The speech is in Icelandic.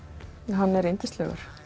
hann er yndislegur